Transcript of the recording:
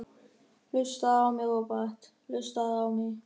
Hlustaðu á mig, Róbert, hlustaðu á mig.